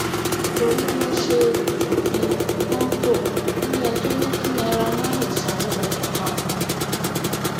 torí wọn ṣe ṣòfin kọńtò iléẹjọ ní kí naira marley sanwó ìtanràn